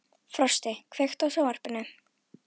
Frosti, kveiktu á sjónvarpinu.